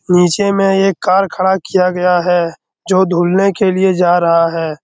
नीचे मे एक कार खड़ा किया गया है जो धुलने के लिए जा रहा है।